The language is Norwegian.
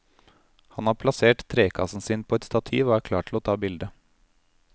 Han har plassert trekassen sin på et stativ og er klar til å ta bilde.